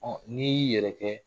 Ɔ n'i y'i yɛrɛ kɛ